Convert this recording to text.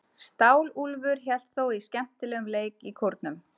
Stálúlfur hélt þó út í skemmtilegum leik í Kórnum.